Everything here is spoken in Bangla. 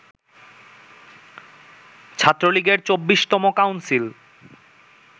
ছাত্রলীগের ২৪তম কাউন্সিল